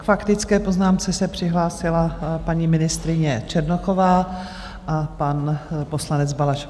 K faktické poznámce se přihlásila paní ministryně Černochová a pan poslanec Balaš.